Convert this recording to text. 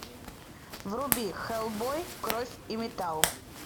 вруби хеллбой кровь и металл